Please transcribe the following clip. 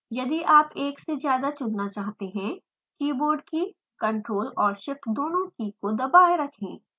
यदि आप एक से ज्यादा चुनना चाहते हैं; कीबोर्ड की ctrl और shift दोनों की को दबाएँ रखें